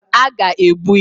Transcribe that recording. A ga-egbu ya